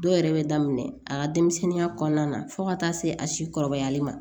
Dɔw yɛrɛ bɛ daminɛ a ka denmisɛnninya kɔnɔna na fo ka taa se a si kɔrɔbayali ma